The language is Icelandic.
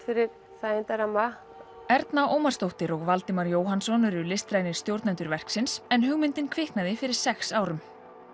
fyrir þægindarmamann Erna Ómarsdóttir og Valdimar Jóhannson eru listrænir stjórnendur verksins en hugmyndin kviknaði fyrir sex árum